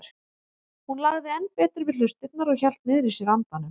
Hún lagði enn betur við hlustirnar og hélt niðri í sér andanum.